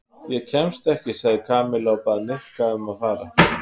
Ég kemst ekki sagði Kamilla og bað Nikka um að fara.